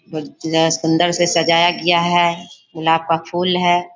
अंदर से सजाया गया है मुनाफा फूल है।